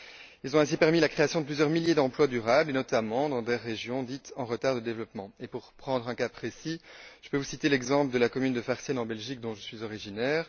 Ils ont ainsi permis la création de plusieurs milliers d'emplois durables, notamment dans des régions dites en retard de développement. Pour prendre un cas précis, je peux vous citer l'exemple de la commune de Farciennes, en Belgique, dont je suis originaire.